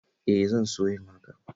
E, zan so yin hakan